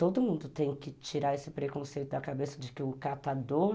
Todo mundo tem que tirar esse preconceito da cabeça de que o catador